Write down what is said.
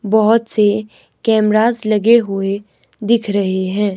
बहोत से कैमराज लगे हुए दिख रहे हैं।